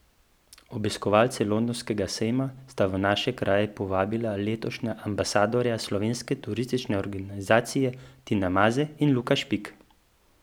Obiskovalce londonskega sejma sta v naše kraje povabila letošnja ambasadorja Slovenske turistične organizacije Tina Maze in Luka Špik.